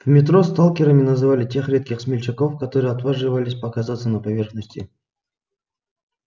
в метро сталкерами называли тех редких смельчаков которые отваживались показаться на поверхности